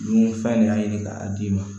Dunfɛn de y'a ɲini k'a d'i ma